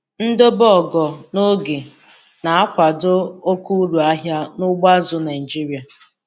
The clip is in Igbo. Ndobe ogo n'oge na-akwado oke uru ahịa n'ugbo azụ̀ Naịjiria.